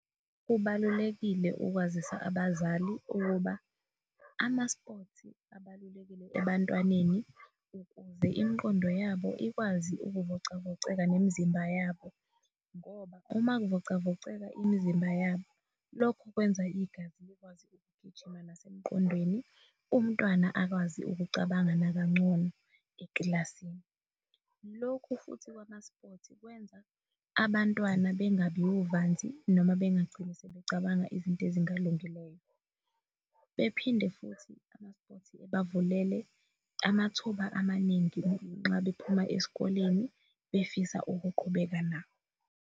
Kubalulekile ukwazisa abazali ukuba amaspothi abalulekile ebantwaneni ukuze imqondo yabo ikwazi ukuvocavoceka nemzimba yabo ngoba uma kuvocavoceka imizimba yabo, lokhu kwenza igazi likwazi ukugijima nasemqondweni umntwana akwazi ukucabanga nakangcono eklasini. Lokhu futhi kwamaspothi kwenza abantwana bengabi wuvanzi noma bengagcini sebecabanga izinto ezingalungileyo. Bephinde futhi ama-spothi ebavulele amathuba amaningi nangenxa bephuma esikoleni befisa ukuqhubeka nawo.